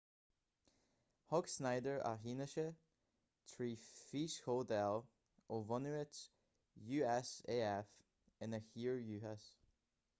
thug schneider a fhianaise trí fhíschomhdháil ó bhunáit usaf ina thír dhúchais